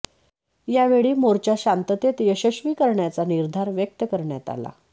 यावेळी मोर्चा शांततेत यशस्वी करण्याचा निर्धार व्यक्त करण्यात आला